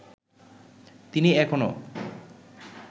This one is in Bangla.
তিনি এখনো